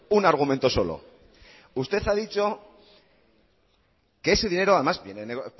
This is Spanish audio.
un argumento solo usted ha dicho que ese dinero además viene puesto